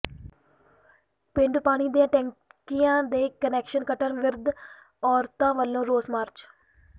ਪੇਂਡੂ ਪਾਣੀ ਦੀਆਂ ਟੈਂਕੀਆਂ ਦੇ ਕੁਨੈਕਸ਼ਨ ਕੱਟਣ ਵਿਰੁੱਧ ਔਰਤਾਂ ਵੱਲੋਂ ਰੋਸ ਮਾਰਚ